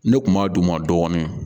Ne kun b'a d'u ma dɔɔnin